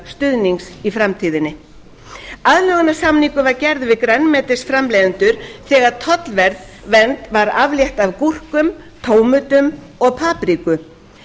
stuðnings í framtíðinni aðlögunarsamningur var gerður við grænmetisframleiðendur þegar tollvernd var aflétt af gúrkum tómötum og papriku